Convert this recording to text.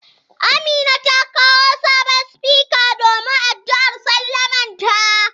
Amina ta kawo sabon sufika domin addu'ar sallamanta.